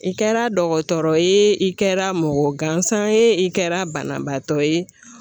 I kɛra dɔgɔtɔrɔ ye i kɛra mɔgɔ gansan ye i kɛra banabaatɔ ye